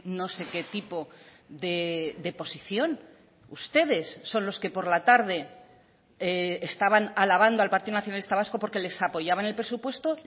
no se qué tipo de posición ustedes son los que por la tarde estaban alabando al partido nacionalista vasco porque les apoyaban el presupuesto